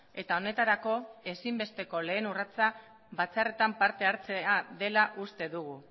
eta honetarako ezinbesteko lehen urratsa batzarretan parte hartzea dela uste dugu